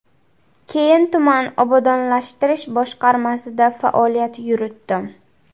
Keyin tuman obodonlashtirish boshqarmasida faoliyat yuritdim.